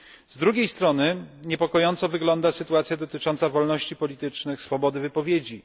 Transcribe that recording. Z drugiej strony niepokojąco wygląda sytuacja dotycząca wolności politycznych, swobody wypowiedzi.